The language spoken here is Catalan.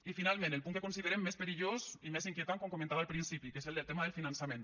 i finalment el punt que considerem més perillós i més inquietant com comentava al principi que és el del tema del finançament